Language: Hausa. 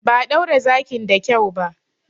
Ba a ɗaure zakin da kyau ba.